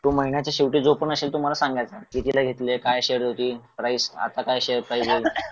तो महिन्याच्या शेवटी जो पण असेल तो मला सांगायचा कितीला घेतले काय शेअर्स होते प्राईज आता काय शेअर पाहिजे